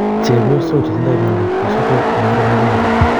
Chepyosok chetindoi miondo ko sokol eng muren akenge